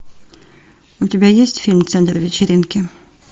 у тебя есть фильм центр вечеринки